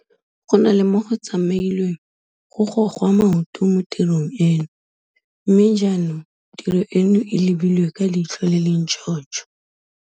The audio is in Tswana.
Go na le mo go tsamailweng go gogwa maoto mo tirong e no, mme jaanong tiro eno e lebilwe ka leitlho le le ntšhotšho.